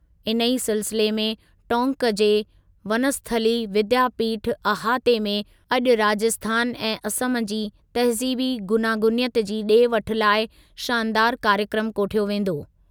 इन ई सिलसिले में टोंक जे वनस्थली विद्यापीठ अहाते में अॼु राजस्थान ऐं असम जी तहज़ीबी गूनागूनियत जी ॾे वठु लाइ शानदारु कार्यक्रमु कोठयो वेंदो।